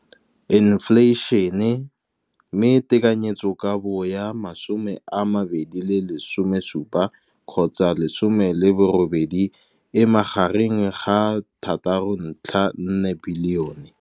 infleišene, mme tekanyetsokabo ya 2017 gotsa 18 e magareng ga 6.4 bilione.